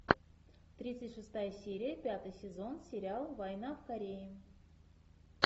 тридцать шестая серия пятый сезон сериал война в корее